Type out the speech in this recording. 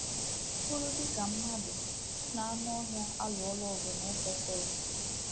Ọ BỤRỤ, dị ka mmadụ, mụ na anụ ọhịa alụọla ọgụ n’Efesọs. ”